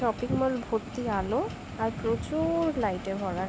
Shopping mall ভর্তি আলো আর প্রচুর-র-র লাইট -এ ভরা ।